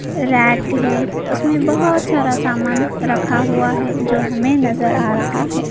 रात है उसमें बहोत सारा सामान रखा हुआ है जो हमें नजर आ रहा है।